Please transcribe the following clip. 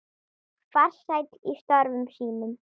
Farsæll í störfum sínum.